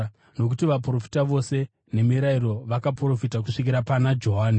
Nokuti Vaprofita vose neMirayiro vakaprofita kusvikira pana Johani.